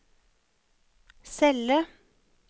celle